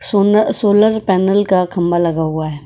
सोना solar panel का खंभा लगा हुआ है।